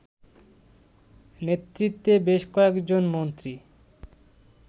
নেতৃত্বে বেশ কয়েকজন মন্ত্রী